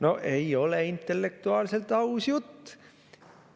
No ei ole intellektuaalselt aus jutt!